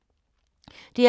DR P3